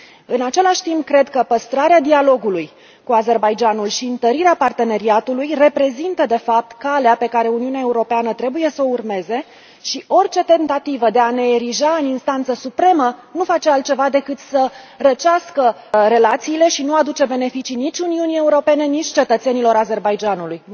În același timp, cred că păstrarea dialogului cu Azerbaidjanul și întărirea parteneriatului reprezintă, de fapt, calea pe care Uniunea Europeană trebuie să o urmeze, iar orice tentativă de a ne erija în instanță supremă nu face altceva decât să răcească relațiile și nu aduce beneficii nici Uniunii Europene, nici cetățenilor Azerbaidjanului.